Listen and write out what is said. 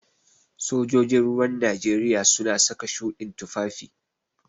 Sojojin ruwan Najeriya suna saka shuɗin tufafi.